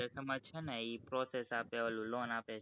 ઈ process આપે ઓલું loan આપે